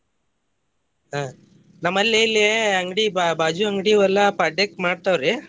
ಹ್ಮ್ ನಮ್ಮಲ್ಲೆ ಇಲ್ಲೇ ಅಂಗ್ಡಿ ಬಾ~ ಬಾಜು ಅಂಗ್ಡಿ ವಲ್ಲಾ ಪಾಡ್ಯೆಕ್ ಮಾಡ್ತಾವ್ರಿ.